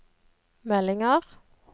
meldinger